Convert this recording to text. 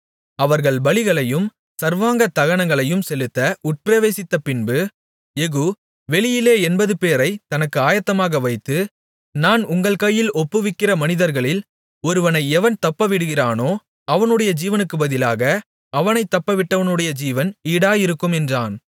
அவர்கள் பலிகளையும் சர்வாங்க தகனங்களையும் செலுத்த உட்பிரவேசித்த பின்பு யெகூ வெளியிலே எண்பதுபேரைத் தனக்கு ஆயத்தமாக வைத்து நான் உங்கள் கையில் ஒப்புவிக்கிற மனிதர்களில் ஒருவனை எவன் தப்பவிடுகிறானோ அவனுடைய ஜீவனுக்குப் பதிலாக அவனைத் தப்பவிட்டவனுடைய ஜீவன் ஈடாயிருக்கும் என்றான்